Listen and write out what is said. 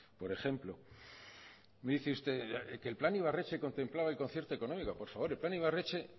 por ejemplo me dice usted qué el plan ibarretxe contemplaba el concierto económico por favor el plan ibarretxe